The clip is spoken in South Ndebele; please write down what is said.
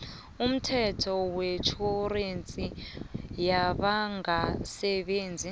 umthetho wetjhorensi yabangasebenziko